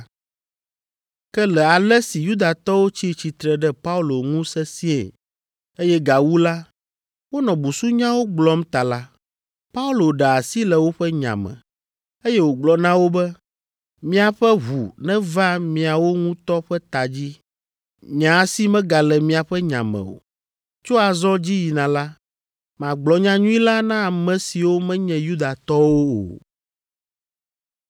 Ke le ale si Yudatɔwo tsi tsitre ɖe Paulo ŋu sesĩe, eye gawu la, wonɔ busunyawo gblɔm ta la, Paulo ɖe asi le woƒe nya me, eye wògblɔ na wo be, “Miaƒe ʋu neva miawo ŋutɔ ƒe ta dzi. Nye asi megale miaƒe nya me o. Tso azɔ dzi yina la, magblɔ nyanyui la na ame siwo menye Yudatɔwo o.”